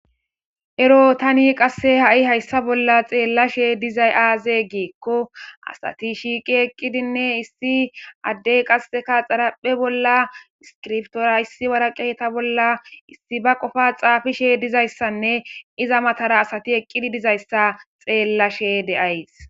Eroo thani qassi hazayssa bolla xeellashee dizay aazee giikko asathi shiiqi eqqidinne issi addee qassikka xaraphphe bolla iskiriptuwara issi woreqatha bolla issi ba qofaa xaafishee dizayssanne iza mathaara asathi eqqidi dizayssa xeellashee de7ays.